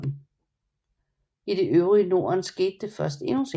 I det øvrige Norden skete det først endnu senere